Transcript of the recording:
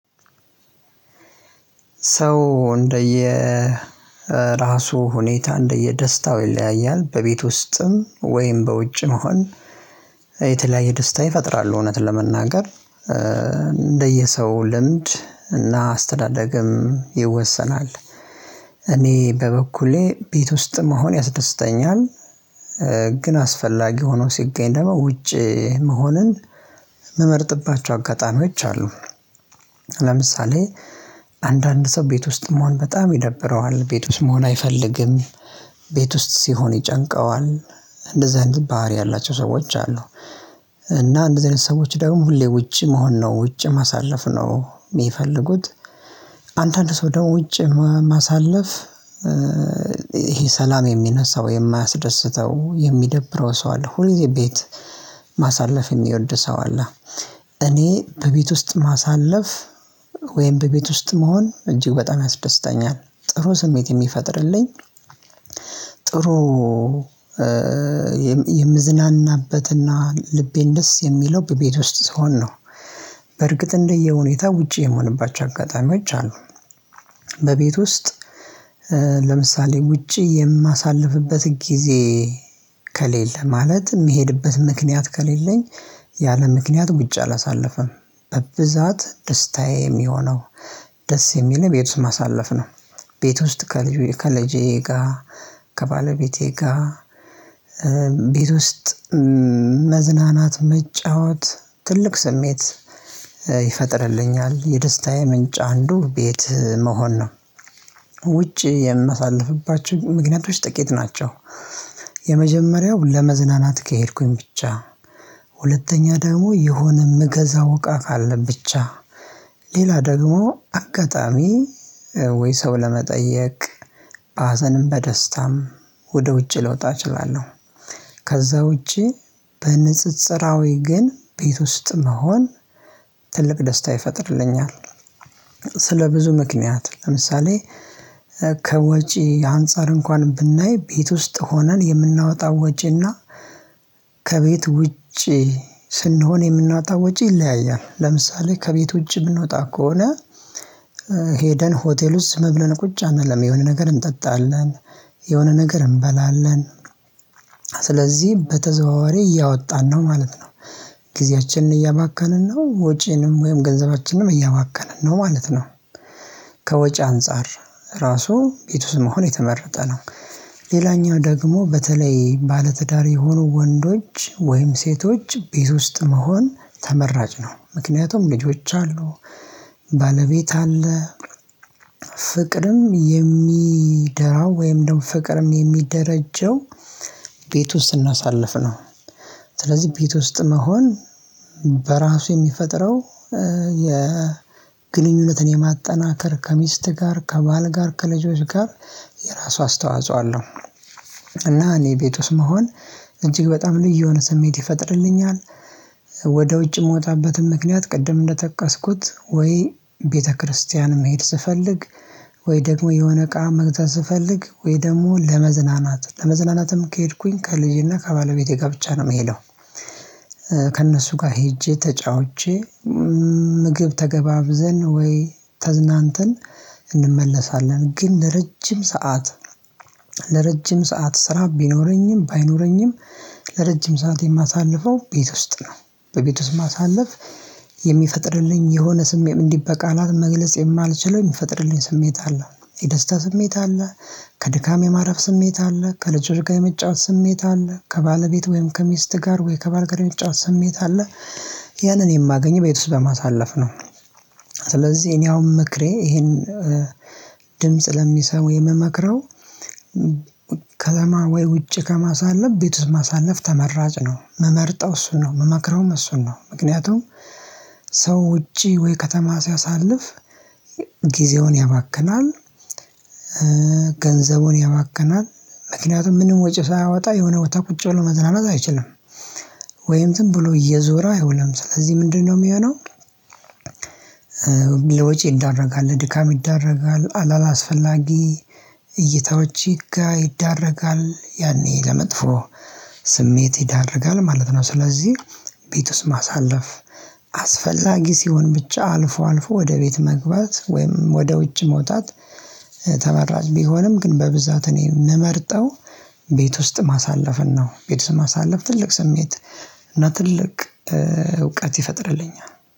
ሰው እንደየ ራሱ ሁኔታ እንደየ ደስታው ይለያያል በቤት ውስጥም ወይም በውጭ መሆን የተለያየ ደስታ ይፈጥራል እውነት ለመናገር እንደየሰው ልምድ እና አስተዳደግም ይወሰናል። እኔ በበኩሌ ቤት ውስጥ መሆን ያስደስተኛል። ግን አስፈላጊ ሆኖ ሲገኝ ደግሞ ውጪ መሆንን መመርጥባቸው አጋጣሚዎች አሉ። ለምሳሌ አንዳንድ ሰው ቤት ውስጥ መሆን በጣም ይደብረዋል ቤት ውስጥ መሆን አይፈልግም። ቤት ውስጥ ሲሆን ይጨንቀዋል። እንደዚህ አይነት ባህሪ ያላቸው ሰዎች አሉ። እና እንደዚህ አይነት ሰዎች ደግሞ ሁሌ ውጪ መሆን ነው ውጪ ማሳለፍ ነው የሚፈልጉት። አንዳንድ ሰው ደግሞ ውጪ ማሳለፍ ይሄ ሰላም የሚነሳው የማያስደስተው የሚደብረው ሰው አለ። ሁልዚህ ቤት ማሳለፍ የሚወድ ሰው አለ። እኔ በቤት ውስጥ ማሳለፍ ወይም በቤት ውስጥ መሆን እጅግ በጣም ያስደስታኛል ጥሩ ስሜት የሚፈጥርልኝ ጥሩ የምዝናናበትና ልቤን ደስ የሚለው በቤት ውስጥ ስሆን ነው። በርግጥ እንደየሁኔታ ውጪ የሆንባቸው አጋጣሚዎች አሉ። በቤት ውስጥ ለምሳሌ ውጪ የማሳልፍበት ጊዜ ከሌለ ማለት የሚሄድበት ምክንያት ከሌለኝ። ያለ ምክንያት ውጭ አላሳለፈም በብዛት ደስታዬ የሚሆነው ደስ የሚል ቤት ውስጥ ማሳለፍ ነው። ቤት ውስጥ ከልጄ ጋር ከባለቤቴ ጋር ቤት ውስጥ መዝናናት መጫወት ትልቅ ስሜት ይፈጥርልኛል። የደስታዬ ምንጭ አንዱ ቤት መሆን ነው። ውጪ የምመሳለፍባቸው ምክንያቶች ጥቂት ናቸው። የመጀመሪያው ለመዝናናት ከሄድኩኝ ብቻ ሁለተኛ ደግሞ የሆነ መገዛው እቃ ካለ ብቻ ሌላ ደግሞ አጋጣሚ ወይ ሰው ለመጠየቅ ሀዘንም በደስታም ወደ ውጪ ልወጣ እችላለሁ። ከዛ ውጪ በንጽጽራዊ ግን ቤት ውስጥ መሆን ትልቅ ደስታ ይፈጥርልኛል። ስለ ብዙ ምክንያት ለምሳሌ ከወጪ አንፃር እንኳን ብናይ ቤት ውስጥ ሆነን የምናወጣ ወጪና ከቤት ውጪ ስንሆን የምንወጣ ወጪ ይለያያል። ለምሳሌ ከቤት ውጪ ብንወጣ ከሆነ። ሄደን ሆቴል ውስጥ መብለን ቁጭ አይደለም የሆነ ነገር እንጠጣለን። የሆነ ነገር እንበላለን። ስለዚህ በተዘዋዋሪ እያወጣን ነው ማለት ነው። ጊዜያችንን እያባከንን ነው ወጪንም ወይም ገንዘባችንንም እያባከንን ነው ማለት ነው። ከወጪ አንፃር ራሱ ቤት ውስጥ መሆን የተመረጠ ነው። ሌላኛው ደግሞ በተለይ ባለትዳር የሆኑ ወንዶች ወይም ሴቶች ቤት ውስጥ መሆን ተመራጭ ነው። ምክንያቱም ልጆች አሉ። ባለቤት አለ። ፍቅርም የሚደራው ወይም ደግሞ ፍቅርም የሚደረጀው ቤት ውስጥ ስናሳልፍ ነው። ስለዚህ ቤት ውስጥ መሆን በራሱ የሚፈጠረው የግንኙነትን የማጠናከር ከሚስት ጋር ከባል ጋር ከልጆች ጋር የራሱ አስተዋጽኦ አለው። እና እኔ ቤት ውስጥ መሆን እጅግ በጣም ልዩ የሆነ ስሜት ይፈጥርልኛል። ወደ ውጭ የምወጣበትን ምክንያት ቅድም እንደጠቀስኩት ወይ ቤተክርስቲያን መሄድ ስፈልግ ወይ ደግሞ የሆነ እቃ መግተል ስፈልግ ወይ ደግሞ ለመዝናናት ለመዝናናትም ከሄድኩኝ ከልጄና ከባለቤቴ ጋር ብቻ ነው የምሄደው። ከእነሱ ጋር ሄጄ ተጫውቼ ምግብ ተገባብዘን ወይ ተዝናንተን እንመለሳለን። ግን ለረጅም ሰዓት ለረጅም ሰዓት ስራ ቢኖረኝም ባይኖረኝም ለረጅም ሰዓት የማሳልፈው ቤት ውስጥ ነው። በቤት ውስጥ ማሳለፍ የሚፈጥርልኝ የሆነ ስሜም እንዲበቃላት መግለጽ የማልችለው የሚፈጥርልኝ ስሜት አለ። የደስታ ስሜት አለ። ከድካም የማረፍ ስሜት አለ ከለጀግካ የመጫወት ስሜት አለ ከባለቤት ወይም ከሚስት ጋር ወይ ከባልገረመጫ ስሜት አለ። ያንን የማገኝ ቤት ውስጥ በማሳለፍ ነው። ስለዚህ እኔ አሁን ምክሬ ይሄን ድምጽ ለሚሰሙ የምመክረው ከለማ ወይ ውጪ ከማሳለፍ ቤት ማሳለፍ ተመራጭ ነው። መመርጠው እሱን ነው መመክረውም እሱን ነው። ምክንያቱም ሰው ውጪ ወይ ከተማ ሲያሳልፍ ጊዜውን ያባክናል። ገንዘቡን ያባክናል። ምክንያቱም ምንም ወጪ ሳያወጣ የሆነ ወጥቶ ቁጭ ብሎ መዝናናት አይችልም። ወይም ዝም ብሎ እየዞረ አይውልም ስለዚህ ምንድነው የሚሆነው? ለወጪ ይዳረጋል ለድካም ይዳረጋል አላላ አስፈላጊ እይታዎች ይጋ ይዳረጋል ያኔ ለመጥፎ ስሜት ይዳረጋል ማለት ነው። ስለዚህ ቤት ውስጥ ማሳለፍ አስፈላጊ ሲሆን ብቻ አልፎ አልፎ ወደ ቤት መግባት ወይም ወደ ውጭ መውጣት ተመራጭ ቢሆንም ግን በብዛት እኔ የምመርጠው ቤት ውስጥ ማሳለፍን ነው። ቤት ስም ማሳለፍ ትልቅ ስሜት እና ትልቅ እውቀት ይፈጥርልኛል።